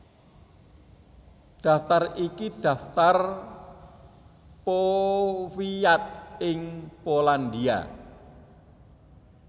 Daftar iki daftar powiat ing Polandia